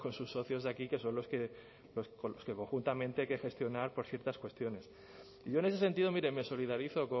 sus socios de aquí que son los que con los que conjuntamente hay que gestionar ciertas cuestiones yo en ese sentido mire me solidarizo